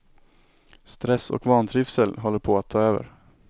Stress och vantrivsel håller på att ta över.